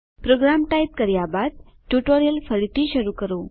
programme type કર્યા બાદ tutorial ફરીથી શરૂ કરો